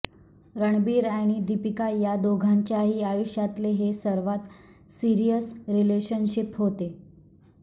रणबीर आणि दीपिका या दोघांच्याही आयुष्यातले हे सर्वात सिरीयस रिलेशनशिप होते